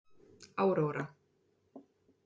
Áróra